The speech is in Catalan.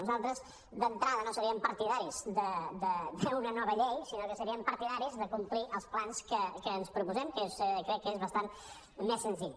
nosaltres d’entrada no seríem partidaris d’una nova llei sinó que seríem partidaris de complir els plans que ens proposem que crec que és basant més senzill